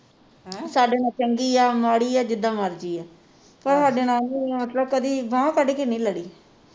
ਸਾਡੇ ਨਾਲ ਚੰਗੀ ਆ ਮਾੜੀ ਆ ਜਿੱਦਾਂ ਮਰਜੀ ਆ ਉਹ ਸਾਡੇ ਨਾਲ ਕਦੀ ਬਾਂਹ ਕੱਢ ਕੇ ਨਹੀਂ ਲੜੀ